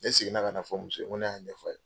Ne seginna ka n'a fɔ muso ye ko ne y'a ɲɛfɔ a ye.